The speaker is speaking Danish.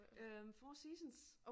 Øh Four Seasons